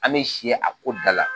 An bɛ si a ko da la.